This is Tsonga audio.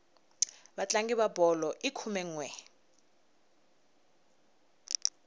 vatlangi va bolo i khume nwe